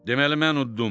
Deməli mən uddum.